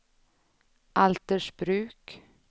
Altersbruk